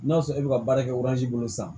N'a sɔrɔ e bɛ ka baara kɛ bolo san